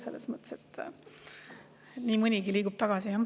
Selles mõttes nii mõnigi liigub tagasi, jah.